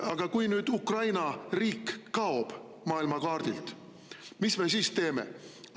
Aga kui nüüd Ukraina riik kaob maailmakaardilt, mis me siis teeme?